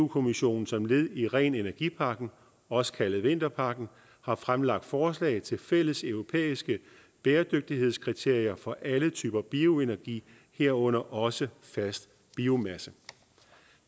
kommissionen som led i ren energi pakken også kaldet vinterpakken har fremlagt forslag til fælles europæiske bæredygtighedskriterier for alle typer bioenergi herunder også fast biomasse